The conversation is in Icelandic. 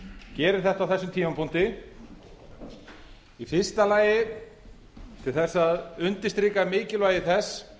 gerir þetta á þessum tímapunkti í fyrsta lagi til þess að undirstrika mikilvægi þess